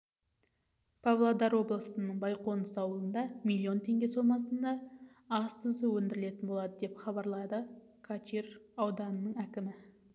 павлодар облысының байқоныс ауылында миллион теңге сомасына ас тұзы өндірілетін болады деп хабарлады качир ауданының әкімі